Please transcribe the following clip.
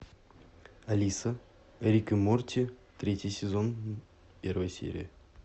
алиса рик и морти третий сезон первая серия